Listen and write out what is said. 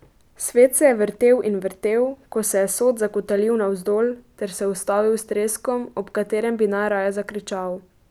Svet se je vrtel in vrtel, ko se je sod zakotalil navzdol, ter se ustavil s treskom, ob katerem bi najraje zakričal.